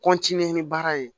ni baara ye